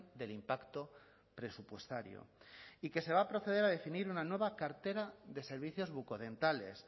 del impacto presupuestario y que se va a proceder a definir una nueva cartera de servicios bucodentales